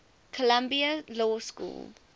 columbia law school